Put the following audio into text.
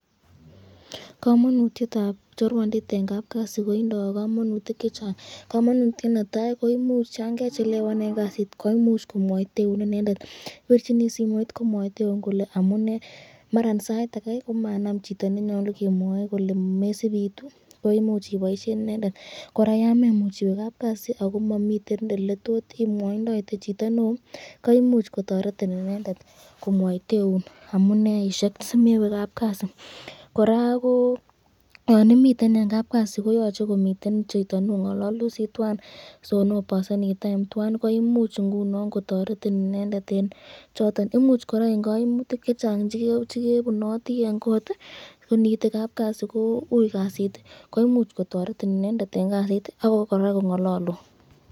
Komonutietab chorwandit en kapkasi kotindo komonutik chechang, komonutiet netaa ko imuch yoon kechelewan en kasit ko imuch komwoiteun inendet, ibirchini simoit komwoiteun kolee amune maran sait akee komanam chito nenyolu kemwoi kolee mesib iitu koimuch iboishen inendet, kora yoon memuch iwee kapkasi ak ko momiten eletot imwoindoite chito neoo koimuch kotoretin inendet komwoiteun amuneishek simewe kapkasi, kora ko yoon imii en kapkasi koyoche komiten chito nong'ololdosi twaan sioboseni time twaan koimuch ing'unon kotoretin inendet en choton, imuch kora en koimutik chechang chekebunoti en koot ko niite kapkasi koui kasit komuch kotoretin inendet en kasit ak koraa Kong'ololun.